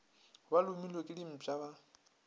ba lomilwe ke dimpša ba